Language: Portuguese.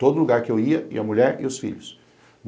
Todo lugar que eu ia, ia a mulher e os filhos.